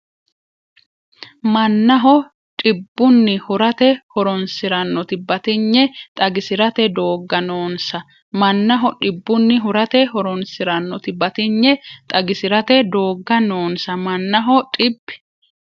Mannaho dhib- bunni hurate horoonsi’rannoti batinye xagisi’rate doogga noonsa Mannaho dhib- bunni hurate horoonsi’rannoti batinye xagisi’rate doogga noonsa Mannaho dhib-.